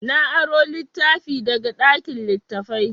Na aro littafi daga ɗakin littattafai.